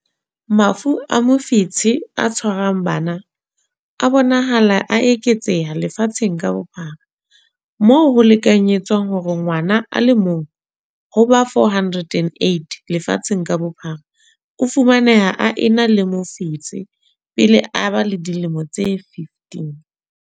Mafu a mofetshe o tshwarang bana a bonahala a eketseha lefatsheng ka bophara, moo ho lekanyetswang hore ngwana a le mong ho ba 408 lefatsheng ka bophara o fumaneha a ena le mofetshe pele a ba le dilemo tse 15.